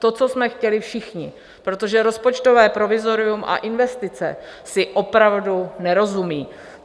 To, co jsme chtěli všichni, protože rozpočtové provizorium a investice si opravdu nerozumějí.